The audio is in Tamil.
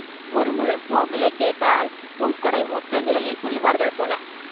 ஒரு மூலம் பூ விலை கேட்டால் பூக்கடை மொத்த விலையை சொல்லுவார்கள் போல.